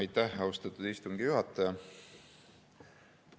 Aitäh, austatud istungi juhataja!